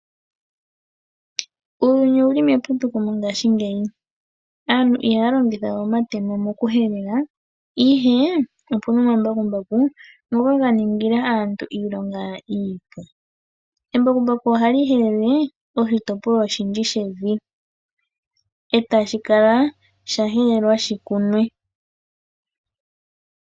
Uuyuni owu li meputuko mongashingeyi, aantu ihaya longitha we omatemo mo ku helela, ihe opu na omambakumbaku ngoka ga ningila aantu iilonga iipu. Embakumbaku ohali helele oshitopolwa oshindji shevi, e tashi kala sha helelwa shi kunwe.